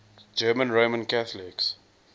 german roman catholics